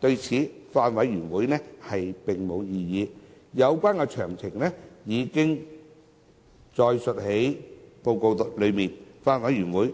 對此，法案委員會並無異議，有關詳情已載列於報告內，法案委員會